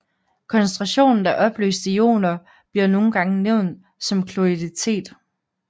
Koncentrationen af opløste ioner bliver nogle gange nævnt som kloritet